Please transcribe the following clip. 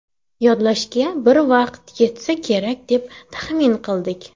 Yodlashga bir hafta vaqt ketsa kerak, deb taxmin qildik.